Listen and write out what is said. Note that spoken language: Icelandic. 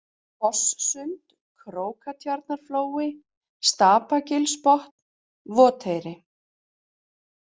Fosssund, Krókatjarnarflói, Stapagilsbotn, Voteyri